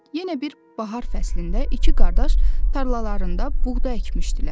Yenə bir bahar fəslində iki qardaş tarlalarında buğda əkmişdilər.